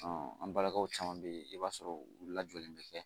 an balimaw caman bɛ yen i b'a sɔrɔ u lajɔlen bɛ kɛ